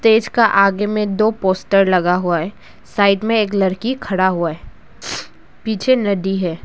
इसका आगे में दो पोस्टर लगा हुआ है साइड में एक लड़की खड़ा हुआ है पीछे नदी है।